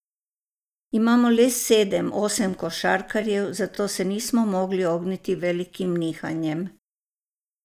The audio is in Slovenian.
Imamo le sedem, osem košarkarjev, zato se nismo mogli ogniti velikim nihanjem.